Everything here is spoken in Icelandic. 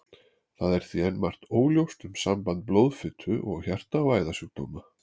Það er því enn margt óljóst um samband blóðfitu og hjarta- og æðasjúkdóma.